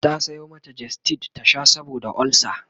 ta Sayo mata gestid ta Sha saboda ulcer